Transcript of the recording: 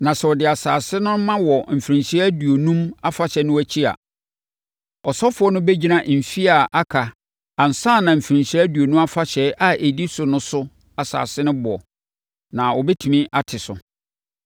Na sɛ ɔde asase no ma wɔ Mfirinhyia Aduonum Afahyɛ no akyi a, ɔsɔfoɔ no bɛgyina mfeɛ a aka ansa na Mfirinhyia Aduonum Afahyɛ a ɛdi so no so asese ne boɔ, na wɔbɛtumi ate so.